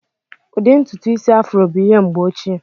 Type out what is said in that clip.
Ụdị ntutu Ịsị Afro bụ ihe mgbe ochie.